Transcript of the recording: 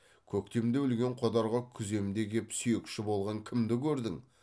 көктемде өлген қодарға күземде кеп сүйекші болған кімді көрдің